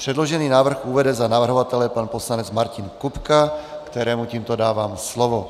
Předložený návrh uvede za navrhovatele pan poslanec Martin Kupka, kterému tímto dávám slovo.